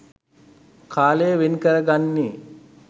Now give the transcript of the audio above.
කාලය වෙන්කරගන්නෙ?